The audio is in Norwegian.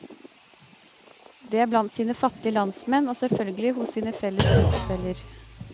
Det er blant sine fattige landsmenn og selvfølgelig hos sine felles trosfeller.